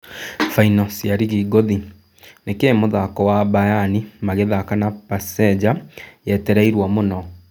Baino cia rigi ngũthi: Nĩkĩĩ mũthako wa Mbayani magĩthaka na Pasenga yetereirwo mũno?